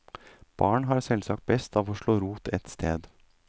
Barn har selvsagt best av å slå rot et sted.